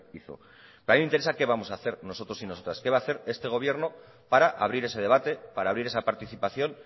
hizo a mí me interesa qué vamos a hacer nosotros y nosotras qué va a hacer este gobierno para abrir ese debate para abrir esa participación